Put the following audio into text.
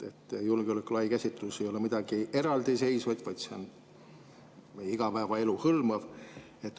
Julgeoleku lai käsitlus ei ole midagi eraldiseisvat, see hõlmab meie igapäevaelu.